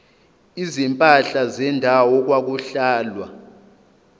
izimpahla zendawo okwakuhlalwa